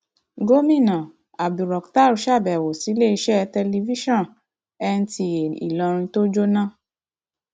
gomina abdulrakhtar sábẹwò síléeṣẹ tẹlifíṣàn nta ìlọrin tó jóná